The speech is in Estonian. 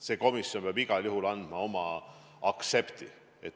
See komisjon peab igal juhul andma oma aktsepti.